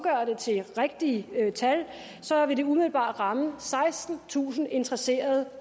til et rigtigt tal vil det umiddelbart ramme sekstentusind interesserede